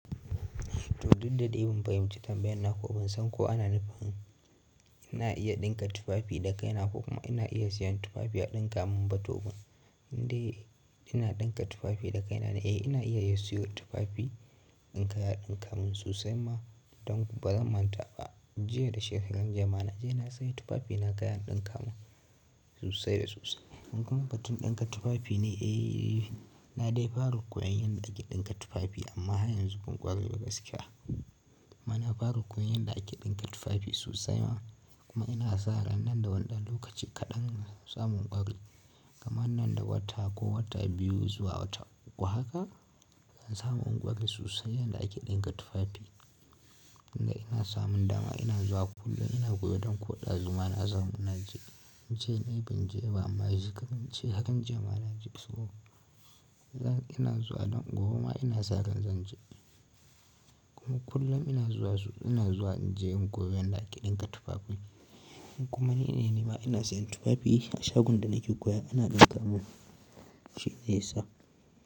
Dudda dai ban fahimci tambayan naka ba, ban san ko ana nufin ina iya ɗinka tufafi da kaina ko kuma ina iya siyan tufafi a ɗinka mun ba ko ba. Indai ina ɗinka tufafi da kaina ne, eh ina iya yin siyan tufafi in kai a ɗinka mun, sosai ma don kuma ba zan manta ba, jiya da shekaran jiya ma na je na sayi tufafi na gaya mun ɗinka mun sosai da sosai. Kuma batun ɗinka tufafi ne, eh na dai fara koyon yadda ake ɗinka tufafi amma har yanzu ban ƙware ba gaskiya. Ma na fara koyon yadda ake ɗinka tufafi sosai ma kuma ina sa ran nan da wannan lokaci kaɗan zan samu ƙware Gama nan da wata ko wata biyu zuwa wata uku haka zan samu ƙwari sosai yadda ake ɗinka tufafi. Inda ina samun dama ina zuwa kullum ina koyo don koɗa zuwa na samu. Na je, jiya ne banje amma yanzu kam na je hakan jiya ma na je saboda ina zuwa don gobe ma ina sa ran zan je. Kuma kullum ina zuwa zuwa ina zuwa na je in koyo yadda ake ɗinka tufafi. Kuma ni ne nima ina siyan tufafi a shagon da nake koya ana ɗinka mun shine yasa.